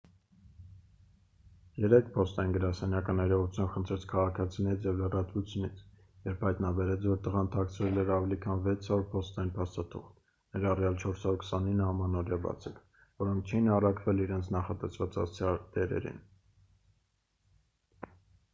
երեկ փոստային գրասենյակը ներողություն խնդրեց քաղաքացիներից և լրատվությունից երբ հայտնաբերեց որ տղան թաքցրել էր ավելի քան 600 փոստային փաստաթուղթ ներառյալ 429 ամանորյա բացիկ որոնք չէին առաքվել իրենց նախատեսված հասցեատերերին